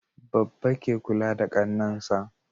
Babba ke kula da Kannan sa